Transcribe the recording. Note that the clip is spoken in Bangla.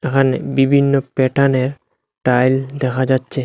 এখানে বিভিন্ন প্যাটার্নের টাইল দেখা যাচ্ছে।